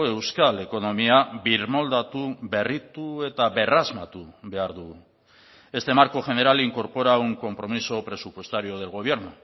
euskal ekonomia birmoldatu berritu eta berrasmatu behar dugu este marco general incorpora un compromiso presupuestario del gobierno